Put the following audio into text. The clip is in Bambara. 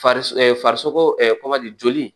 Fariso farisoko joli